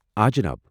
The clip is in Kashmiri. آ، جناب ۔